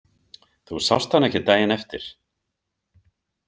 Þú sást hann ekkert daginn eftir?